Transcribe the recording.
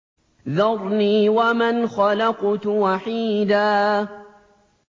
ذَرْنِي وَمَنْ خَلَقْتُ وَحِيدًا